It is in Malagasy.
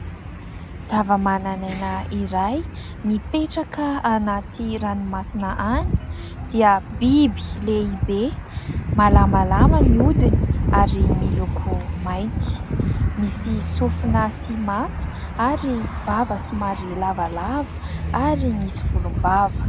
Zavamananaina iray, mipetraka anaty ranomasina any dia biby lehibe malamalama ny hodiny ary miloko mainty. Misy sofina sy maso ary vava somary lavalava ary misy volombava.